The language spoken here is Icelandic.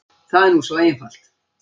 Það er nú svo einfalt.